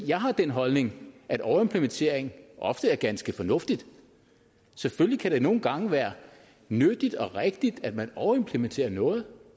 jeg har den holdning at overimplementering ofte er ganske fornuftigt selvfølgelig kan det nogle gange være nyttigt og rigtigt at man overimplementerer noget